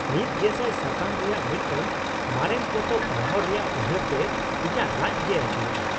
᱑᱐᱐᱐ ᱥᱟᱠᱟᱢ ᱨᱮᱭᱟᱜ ᱢᱤᱫᱴᱟᱝ ᱢᱟᱨᱮᱱ ᱯᱚᱛᱚᱵ ᱯᱟᱲᱦᱟᱣ ᱨᱮᱭᱟᱜ ᱩᱭᱦᱟᱹᱨ ᱛᱮ ᱤᱧᱟᱹᱜ ᱞᱟᱡᱽ ᱜᱮ ᱟᱹᱪᱩᱨᱚᱜᱼᱟ ᱾